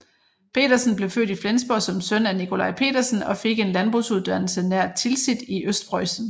Petersen blev født i Flensborg som søn af Nicolaj Petersen og fik en landbrugsuddannelse nær Tilsit i Østpreussen